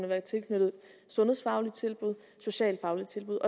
være tilknyttet sundhedsfaglige tilbud og socialfaglige tilbud